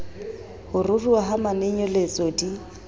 ho ruruha ha manonyeletso di